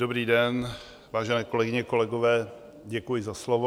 Dobrý den, vážené kolegyně, kolegové, děkuji za slovo.